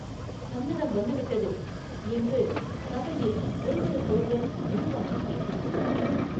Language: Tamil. “சந்நதம் வந்து விட்டது” என்று சபையில் ஒருவருக்கொருவர் மெதுவாகப் பேசிக் கொண்டார்கள்.